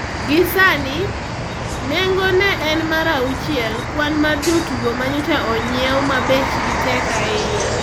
Gi sani, nengo ne en mar auchiele kwan mar jotugo manyocha onyiew ma bechgi tek ahinya.